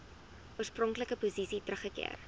oorspronklike posisie teruggekeer